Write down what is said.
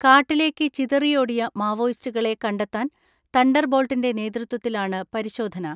കാട്ടിലേക്ക് ചിതറിയോടിയ മാവോയിസ്റ്റുകളെ കണ്ട ത്താൻ തണ്ടർബോൾട്ടിന്റെ നേതൃത്വത്തിലാണ് പരിശോധന.